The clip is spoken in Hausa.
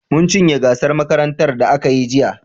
Mun cinye gasar makarantar da aka yi jiya.